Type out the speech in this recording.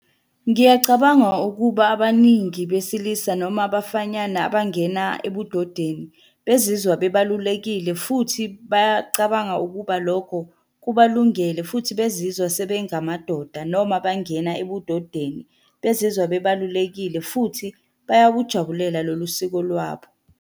Ngiyacabanga ukuba abaningi besilisa noma abafanyana abangena ebudodeni. Bezizwa bebalulekile futhi bayacabanga ukuba lokho kubalungele, futhi bezizwa sebengamadoda, noma bangena ebudodeni. Bezizwa bebalulekile futhi bayakujabulela lolu siko lwabo.